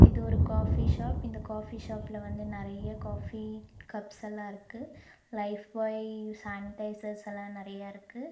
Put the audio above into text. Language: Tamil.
இது ஒரு காஃபி ஷாப் இந்த காஃபி ஷாப்ல வந்து நறைய காஃபி கப்ஸல்லாருக்கு லைஃப் பாய் சானிடைசர்ஸ்ஸெல்லா நறையாருக்கு.